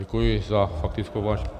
Děkuji za faktickou.